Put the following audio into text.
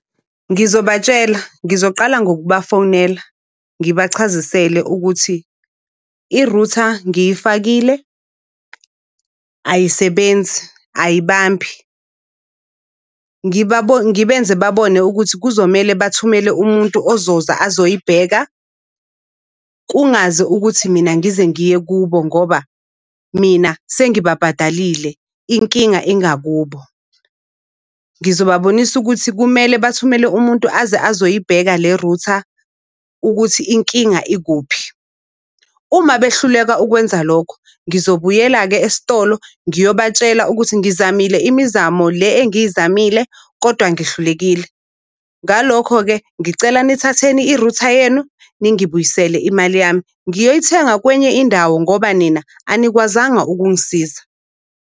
Ngizobatshela, ngizoqala ngokubafonela ngibachazisele ukuthi i-router ngiyifakile, ayisebenzi, ayibambi. Ngibenze babone ukuthi kuzomele bathumele umuntu ozoza azoyibheka kungaze ukuthi mina ngize ngiye kubo ngoba mina sengibabhadalile, inkinga ingakubo. Ngizobabonisa ukuthi kumele bathumele umuntu aze azoyibheka le router ukuthi inkinga ikuphi. Uma behluleka ukwenza lokho, ngizobuyela-ke esitolo ngiyobatshela ukuthi ngizamile imizamo le engiyizamile kodwa ngihlulekile. Ngalokho-ke ngicela nithatheni i-router yenu, ningibuyisele imali yami, ngiyolithenga kwenye indawo ngoba nina anikwazanga ukungisiza.